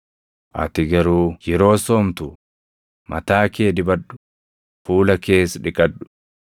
Ati garuu yeroo soomtu mataa kee dibadhu; fuula kees dhiqadhu.